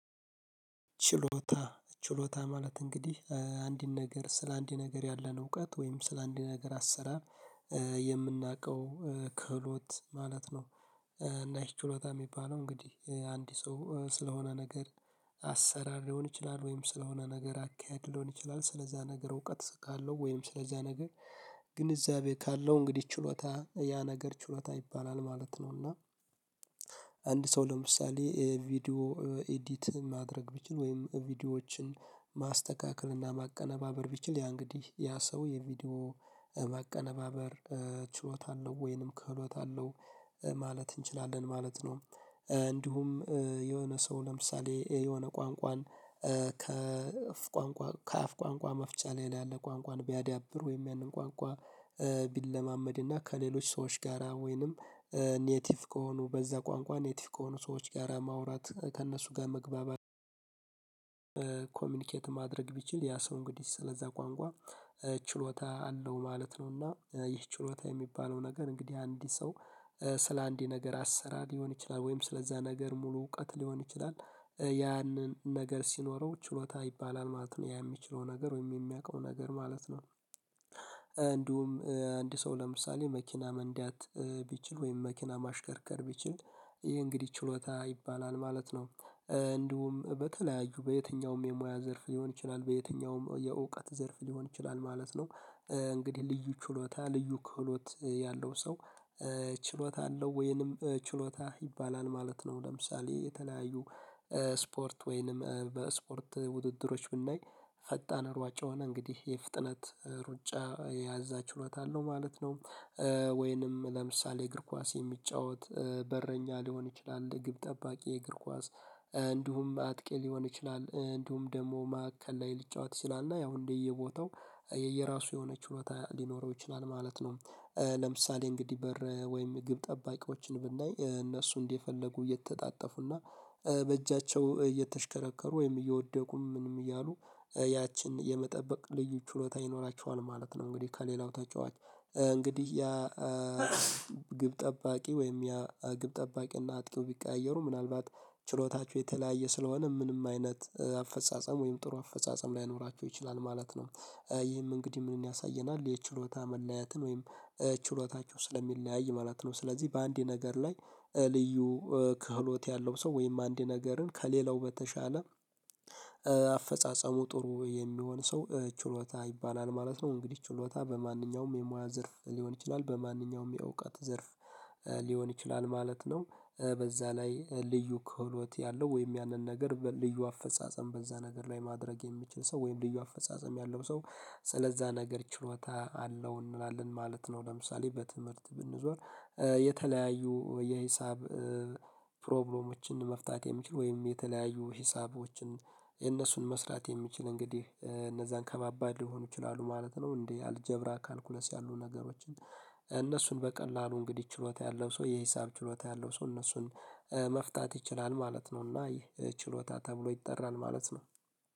ችሎታ ችሎታ ማለት እንግዲህ አንድን ነገር ስለ አንድ ነገር ያለን እውቀት ወይም ስለ አንድን ነገር አሰራ የምናውቀው ክህሎት ማለት ነው። እና እህ ችሎታ እሚባለው እንግዲህ አንድ ሰው ስለሆነ ነገር አሰራር ሊሆን ይችላል ወይም ስለሆነ ነገር አካሄድ ሊሆን ይችላል ስለዛ ነገር እውቀት እስካለው ወይም ስለዛ ነገር ግንዛቤ ካለው እንግዲህ ችሎታ ያ ነገር ችሎታ ይባላል ማለት ነው። እና አንድ ሰው ለምሳሌ ቪዲዮ ኢዲት ማድረግ ቢችል ወይም ቪዲዮዎች ማስተካከል እና ማቀነባበር ቢችል ያ እንግዲህ ያ ሰው የቪዲዮ ማቀነባበር ችሎታ አለው ወይንም ክህሎት አለው ማለት እንችላለን ማለት ነው። እንዲሁም የሆነ ሰው ለምሳሌ የሆነ ቋንቋን ከአፍ ቋንቋ መፍቻ ላይ ያለ ቋንቋን ቢያዳብር ወይም ያንን ቋንቋ ቢለማመድ እና ከሌሎች ሰዎች ጋራ ወይንም ኔቲቭ ከሆኑ በዛ ቋንቋ ኔቲቭ ከሆኑ ሰዎች ጋራ ማውራት ከእነሱ ጋር መግባባት ኮሚኒኬት ማድረግ ቢችል ያ ሰው እንግዲህ ስለዛ ቋንቋ ችሎታ አለው ማለት ነውና። ይህ ችሎታ የሚባለው ነገር እንግዲህ አንድ ሰው ስለ አንዲ ነገር አሰራ ሊሆን ይችላል ወይም ስለዛ ነገር ሙሉ እውቀት ሊሆን ይችላል ያንን ነገር ሲኖረው ችሎታ ይባላል ማለት ነው ያ እሚችለው ነገር ወይም የሚያውቀው ነገር ማለት ነው። እንዲሁም አንድ ሰው ለምሳሌ መኪና መንዳት ቢችል ወይም መኪና ማሽከርከር ቢችል ይሄ እንግዲህ ችሎታ ይባላል ማለት ነው። እንዲሁም በተለያዩ በየትኛውም የሙያ ዘርፍ ሊሆን ይችላል በየትኛውም የእውቀት ዘርፍ ሊሆን ይችላል ማለት ነው። እንግዲህ ልዩ ችሎታ ልዩ ክህሎት ያለው ሰው ችሎታ አለው ወይንም ችሎታ ይባላል ማለት ነው። ለምሳሌ የተለያዩ ስፖርት ወይንም በስፖርት ውድድሮች ብናይ ፈጣን ሯጭ የሆነ እንግዲህ የፍጥነት ሩጫ የዛ ችሎታ አለው ማለት ነው። ወይንም ለምሳሌ እግር ኳስ የሚጫወት በረኛ ሊሆን ይችላል ግብ ጠባቂ የእግር ኳስ እንዲሁም አጥቂ ሊሆን ይችላል እንዲሁም ደሞ መካከል ላይ ሊጫወት ይችላል እና ያው እንደየቦታው የየራሱ የሆነ ችሎታ ሊኖረው ይችላል ማለት ነው። ለምሳሌ እንግዲህ በር ወይም ግብ ጠባቂዎችን ብናይ እነሱ እንዲፈለጉ የተጣጠፉና በእጃቸው እየተሽከረከሩ ወይም እየወደቁም ምንም እያሉ ያችን የመጠበቅ ልዩ ችሎታ ይኖራቸዋል ማለት ነው። እንግዲህ ከሌላው ተጫዋች እንግዲህ ያ ግብ ጠባቂ ወይም ያ ግብ ጠባቂና አጥቂው ቢቀያየሩ ምናልባት ችሎታቸው የተለያየ ስለሆነ ምንም አይነት አፈጻጸም ወይም ጥሩ አፈጻጸም ላይኖራቸው ይችላል ማለት ነው። ይህም እንግዲህ ምንን ያሳየናል የችሎታ መለያትን ወይም ችሎታቸው ስለሚለያይ ማለት ነው። ስለዚህ በአንዴ ነገር ላይ ልዩ ክህሎት ያለው ሰው ወይም አንድ ነገርን ከሌላው በተሻለ አፈጻጸሙ ጥሩ የሚሆን ሰው ችሎታ ይባላል ማለት ነው። እንግዲህ ችሎታ በማንኛውም የሙያ ዘርፍ ሊሆን ይችላል በማንኛውም የዕውቀት ዘርፍ ሊሆን ይችላል ማለት ነው። በዛ ላይ ልዩ ክህሎት ያለው ወይም ያንን ነገር ልዩ አፈጻጸም በዛ ነገር ላይ ማድረግ የሚችል ሰው ወይም ልዩ አፈጻጸም ያለው ሰው ስለዛ ነገር ችሎታ አለው እንላለን ማለት ነው። ለምሳሌ በትምህርት ብንዞር የተለያዩ የሂሳብ ፕሮብሌሞችን መፍታት የሚችል ወይም የተለያዩ ሂሳቦችን የነሱን መስራት የሚችል እንግዲህ እነዛን ከማባድ ሊሆኑ ይችላሉ ማለት ነው። እንዴ አልጀብራ ካልኩለስ ያሉ ነገሮችን እነሱን በቀላሉ እንግዲህ ችሎታ ያለው ሰው የሂሳብ ችሎታ ያለው ሰው እነሱን መፍታት ይችላል ማለት ነው። እና ይህ ችሎታ ተብሎ ይጠራል ማለት ነው።